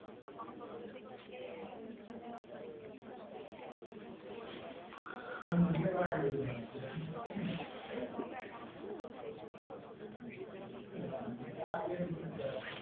ଆପଣଙ୍କର ଯଦି କିଛି ମାନେ ଅ medical emergency ରହୁଛି ଆପଣ ଯଦି insurance କରିଥିବେ ତାହେଲେ ଆପଣଙ୍କୁ ଏହି ସବୁର ସୁବିଧା ମିଳିପାରିବ ଆପଣ